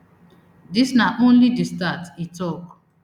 dis na only di start e tok